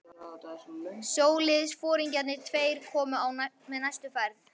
Sjóliðsforingjarnir tveir komu með næstu ferð.